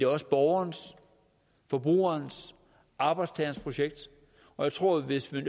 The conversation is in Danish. også borgerens forbrugerens og arbejdstagerens projekt og jeg tror at hvis man